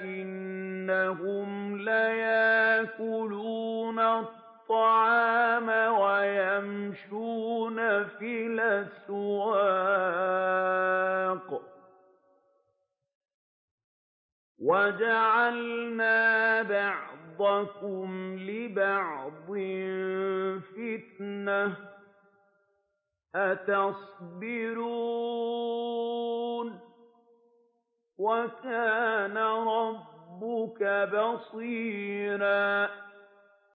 إِنَّهُمْ لَيَأْكُلُونَ الطَّعَامَ وَيَمْشُونَ فِي الْأَسْوَاقِ ۗ وَجَعَلْنَا بَعْضَكُمْ لِبَعْضٍ فِتْنَةً أَتَصْبِرُونَ ۗ وَكَانَ رَبُّكَ بَصِيرًا